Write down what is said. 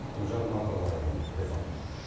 гүлжан марқабаеваның репортажы